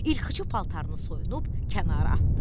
İrxıcı paltarını soyunub kənara atdı.